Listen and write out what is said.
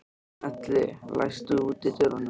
Elly, læstu útidyrunum.